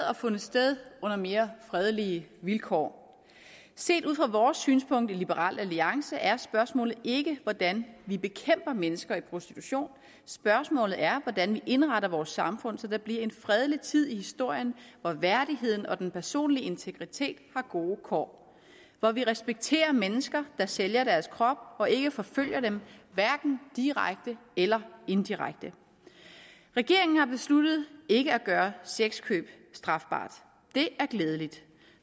har fundet sted under mere fredelige vilkår set ud fra vores synspunkt i liberal alliance er spørgsmålet ikke hvordan vi bekæmper mennesker i prostitution spørgsmålet er hvordan vi indretter vores samfund så der bliver en fredelig tid i historien hvor værdigheden og den personlige integritet har gode kår hvor vi respekterer mennesker der sælger deres krop og ikke forfølger dem hverken direkte eller indirekte regeringen har besluttet ikke at gøre sexkøb strafbart og det er glædeligt